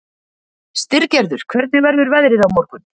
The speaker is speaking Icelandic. Styrgerður, hvernig verður veðrið á morgun?